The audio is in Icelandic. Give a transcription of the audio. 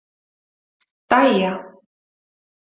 Dæja